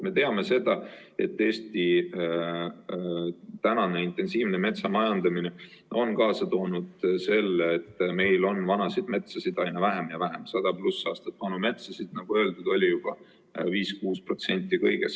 Me teame, et Eesti intensiivne metsamajandamine on kaasa toonud selle, et meil on vana metsa aina vähem ja vähem, 100+ aastat vana metsa, nagu öeldud, on 5–6%.